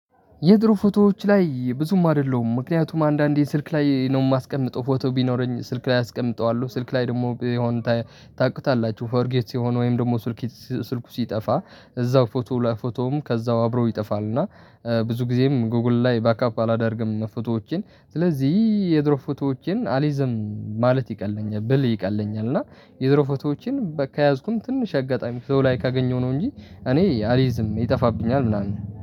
የድሮ ፎቶዎች ላይ ብዙም አይደለሁም። ምክንያቱም አንዳንዴ ስልክ ላይ ነው የማስቀምጠው ፎቶ ቢኖረኝ ስልክ ላይ አስቀምጠዋለሁ። ስልክ ላይ ደግሞ የሆነ ታውቁታላችሁ ፎርጌት ሲሆን ወይም ደግሞ ስልክ ስልኩ ሲጠፋ እዛው ፎቶ ላይ ከዛው አብረው ይጠፋል። እና ብዙ ጊዜም ጎግል ላይ ባክአፕ አላደርግም ፎቶዎቼን ስለዚህ የድሮ ፎቶዎቼን አሊዝም ማለት ይቀለኛል ብል ይቀለኛል። እና የድሮ ፎቶዎችን ከያዝኩኝ ትንሽ አጋጣሚ ሰው ላይ ካገኘሁ ነው እንጂ እኔ አሊዝም ይጠፋብኛል ምናምን